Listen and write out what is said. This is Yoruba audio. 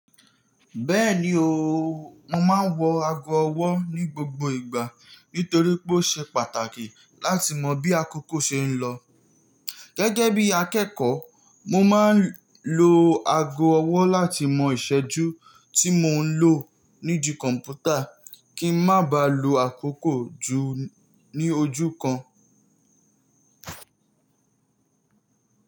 Bẹ́ẹ̀ni ooo, mo máa ń wọ ago ọwọ́ ní gbogbo ìgbà nítorí pé ó ṣe pàtàkì láti mọ bí àkókò ṣe ń lọ. Gẹ́gẹ́ bí akẹ́kọ̀ọ́, mo máa ń lo ago ọwọ́ láti mọ ìṣẹ́jú tí mò ń lò nídi kọ̀mpútà kí n má baà lo àkókò jù ní ojú kan.